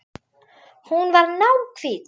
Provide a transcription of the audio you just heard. Hún var náhvít.